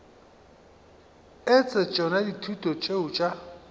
etse tšona dithuto tšeo tša